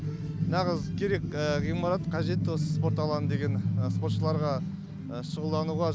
нағыз керек ғимарат қажет осы спорт алаңы деген спортшыларға шұғылдануға